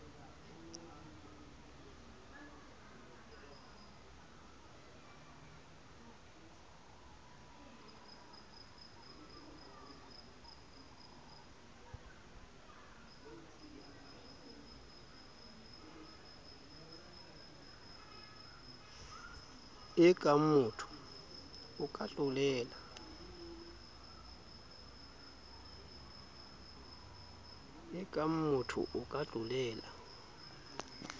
e kangmotho o ka tlolela